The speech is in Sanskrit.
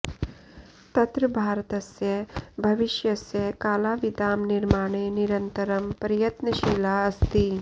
तत्र भारतस्य भविष्यस्य कालाविदां निर्माणे निरन्तरं प्रयत्नशीला अस्ति